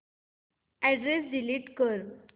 address delete कर